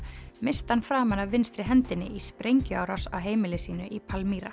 missti hann framan af vinstri hendinni í sprengjuárás á heimili sínu í